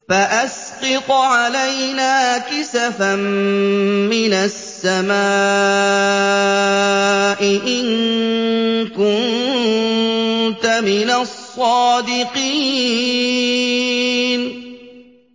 فَأَسْقِطْ عَلَيْنَا كِسَفًا مِّنَ السَّمَاءِ إِن كُنتَ مِنَ الصَّادِقِينَ